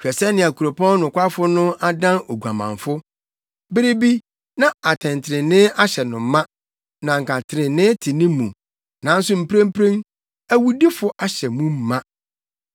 Hwɛ sɛnea kuropɔn nokwafo no adan oguamanfo. Bere bi, na atɛntrenee ahyɛ no ma na anka trenee te ne mu, nanso mprempren, awudifo ahyɛ mu ma!